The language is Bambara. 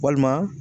Walima